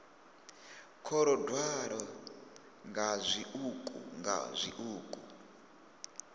kolodwaho nga zwiṱuku nga zwiṱuku